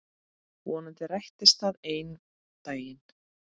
Vonandi rætist það einn daginn.